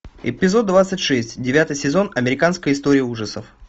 эпизод двадцать шесть девятый сезон американская история ужасов